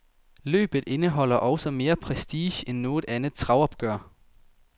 Løbet indeholder også mere prestige end noget andet travopgør.